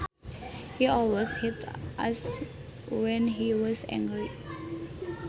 He always hit us when he was angry